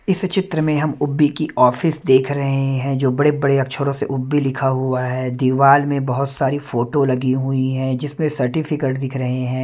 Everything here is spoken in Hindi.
इस चित्र में हम उब्बी की ऑफिस देख रहे हैं जो बड़े-बड़े अक्षरों से उब्बी लिखा हुआ है दीवार में बहुत सारी फोटो लगी हुई हैं जिसमें सर्टिफिकेट दिख रहे हैं।